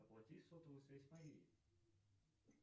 оплати сотовую связь марии